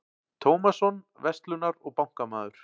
Tómasson, verslunar- og bankamaður.